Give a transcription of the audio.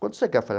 Quanto você quer?